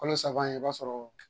Kalo saba in i b'a sɔrɔ